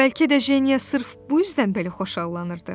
Bəlkə də Jenya sırf bu üzdən belə xoşallanırdı.